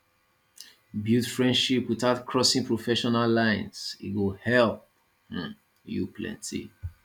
build friendship without crossing professional lines e go help um you plenty